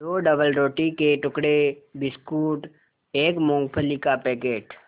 दो डबलरोटी के टुकड़े बिस्कुट एक मूँगफली का पैकेट